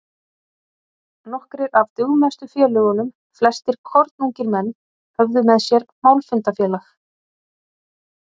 Nokkrir af dugmestu félögunum, flestir kornungir menn, höfðu með sér málfundafélag